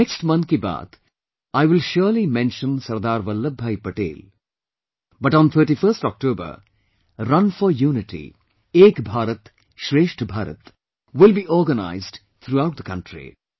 In the next Mann Ki Baat, I will surely mention Sardar Vallabh Bhai Patel but on 31st October, Run for Unity Ek Bharat Shreshth Bharat will be organized throughout the country